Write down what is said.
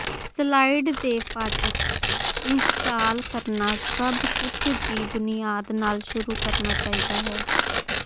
slide ਦੇ ਫ਼ਾਟਕ install ਕਰਨਾ ਸਭ ਕੁਝ ਦੀ ਬੁਨਿਆਦ ਨਾਲ ਸ਼ੁਰੂ ਕਰਨਾ ਚਾਹੀਦਾ ਹੈ